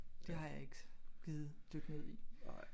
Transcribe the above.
Det har jeg ikke gidet dykke ned i